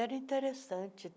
Era interessante.